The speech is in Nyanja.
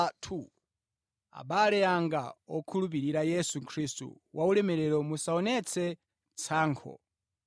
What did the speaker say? Abale anga, okhulupirira Yesu Khristu waulemerero, musaonetse tsankho.